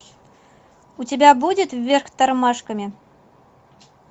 у тебя будет вверх тормашками